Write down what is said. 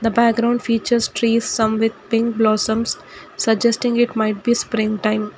The background features trees some with pink blossoms suggesting it might be spring time.